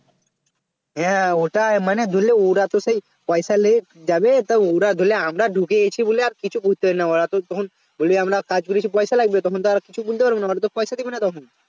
হ্যাঁ ওটাই মানে ধরেলে ওরাতো সেই পয়সা যে যাবে তো ধরেলে আমরা ঢুকে গেছি বলে আর কিছু করতে পারবে না ওরা তখন বলবে আমরা কাজ করেছি পয়সা লাগবে তখন তো আর কিছু পারবে না মানে পয়সা দিবে না তখন